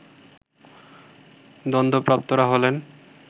দণ্ডপ্রাপ্তরা হলেন